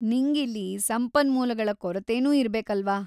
ನಿಂಗಿಲ್ಲಿ ಸಂಪನ್ಮೂಲಗಳ ಕೊರತೆನೂ ಇರ್ಬೇಕಲ್ವಾ?